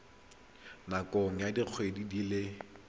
nakong ya dikgwedi di le